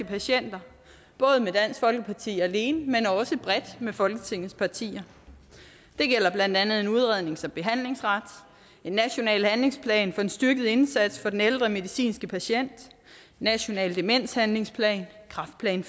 patienter både med dansk folkeparti alene men også bredt med folketingets partier det gælder blandt andet en udrednings og behandlingsret en national handlingsplan for en styrket indsats for den ældre medicinske patient en national demenshandlingsplan kræftplan